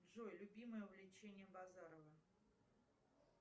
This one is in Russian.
джой любимое увлечение базарова